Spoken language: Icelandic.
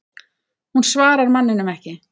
Hún svarar manninum ekki.